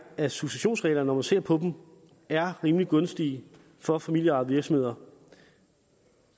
at successionsreglerne når man ser på dem er rimelig gunstige for familieejede virksomheder